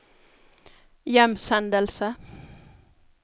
hjemsendelse